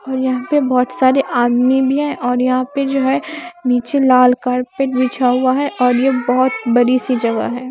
और यहाँ पे बहुत सारे आदमी भी हैं और यहाँ पे जो है नीचे लाल कार्पेट बिछा हुआ है और यह बहुत बड़ी सी जगह है।